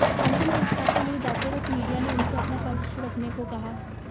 अंतिम संस्कार के लिए जाते वक्त मीडिया ने उससे अपना पक्ष रखने को कहा